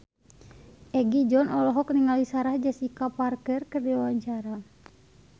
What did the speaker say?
Egi John olohok ningali Sarah Jessica Parker keur diwawancara